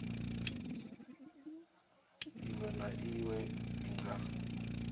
iwe na iwe i nga